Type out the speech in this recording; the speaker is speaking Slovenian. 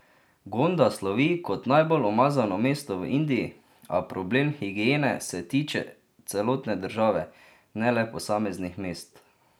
Gonda slovi kot najbolj umazano mesto v Indiji, a problem higiene se tiče celotne države, ne le posameznih mest.